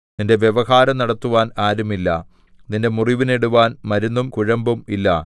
നിന്റെ വ്യവഹാരം നടത്തുവാൻ ആരുമില്ല നിന്റെ മുറിവിന് ഇടുവാൻ മരുന്നും കുഴമ്പും ഇല്ല